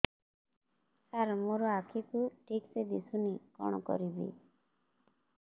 ସାର ମୋର ଆଖି କୁ ଠିକସେ ଦିଶୁନି କଣ କରିବି